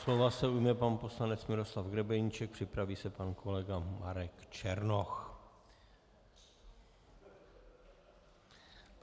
Slova se ujme pan poslanec Miroslav Grebeníček, připraví se pan kolega Marek Černoch.